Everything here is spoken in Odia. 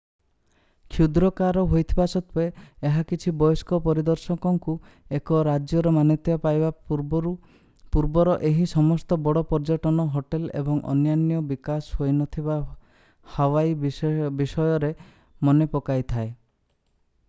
କ୍ଷୁଦ୍ରାକାର ହୋଇଥିବା ସତ୍ତ୍ୱେ ଏହା କିଛି ବୟସ୍କ ପରିଦର୍ଶକଙ୍କୁ ଏକ ରାଜ୍ୟର ମାନ୍ୟତା ପାଇବା ପୂର୍ବର ଏହି ସମସ୍ତ ବଡ଼ ପର୍ଯ୍ୟଟନ ହୋଟେଲ୍ ଏବଂ ଅନ୍ୟାନ୍ୟ ବିକାଶ ହୋଇନଥିବା ହାୱାଇ ବିଷୟରେ ମନେପକାଇଥାଏ